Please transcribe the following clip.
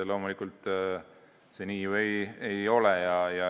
Loomulikult see nii ju ei ole.